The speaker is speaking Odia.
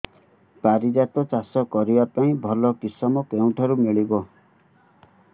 ପାରିଜାତ ଚାଷ କରିବା ପାଇଁ ଭଲ କିଶମ କେଉଁଠାରୁ ମିଳିବ